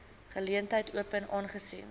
geleentheid open aangesien